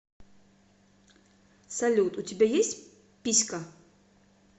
салют у тебя есть писька